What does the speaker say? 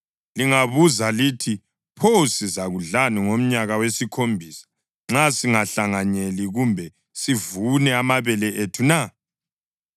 Lingabuza lithi, “Pho sizakudlani ngomnyaka wesikhombisa nxa singahlanyeli kumbe sivune amabele ethu na?”